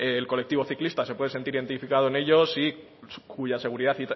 el colectivo ciclista se puede sentir identificado en ellos y cuya seguridad